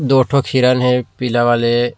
दो ठो हिरण हे पीला वाले--